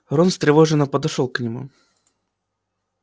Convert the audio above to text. рон встревоженно подошёл к нему